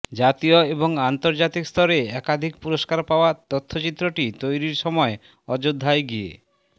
জাতীয় এবং আন্তর্জাতিক স্তরে একাধিক পুরস্কার পাওয়া তথ্যচিত্রটি তৈরির সময় অযোধ্যায় গিয়ে